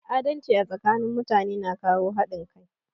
Adalci a tsakanin mutane na kawo haɗin kai